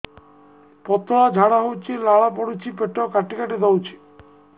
ପତଳା ଝାଡା ହଉଛି ଲାଳ ପଡୁଛି ପେଟ କାଟି କାଟି ଦଉଚି